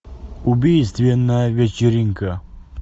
убийственная вечеринка